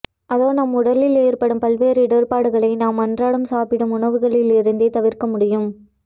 அதோ நம் உடலில் ஏற்படும் பல்வேறு இடர்பாடுகளை நாம் அன்றாடம் சாப்பிடும் உணவுகளிலிருந்தே தவிர்க்க முடியும்